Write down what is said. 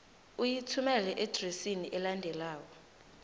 uyithumele eadresini elandelako